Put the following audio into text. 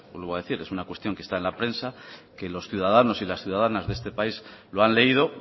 vuelvo a decir es una cuestión que está en la prensa que los ciudadanos y las ciudadanas de este país lo han leído